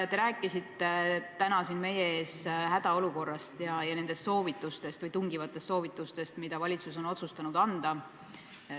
Te rääkisite täna siin meie ees hädaolukorrast ja nendest soovitustest – tungivatest soovitustest –, mida valitsus on otsustanud anda.